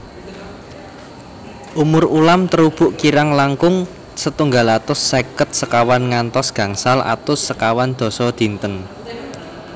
Umur ulam terubuk kirang langkung setunggal atus seket sekawan ngantos gangsal atus sekawan dasa dinten